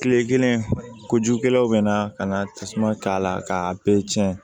Kile kelen kojugukɛlaw bɛna ka na tasuma k'a la k'a bɛɛ cɛn